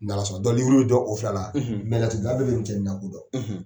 N'Ala sɔn na bɛ d o filala, laturu bɛɛ bɛ cɛnin la ko